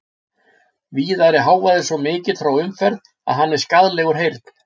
Víðar er hávaði svo mikill frá umferð að hann er skaðlegur heyrn.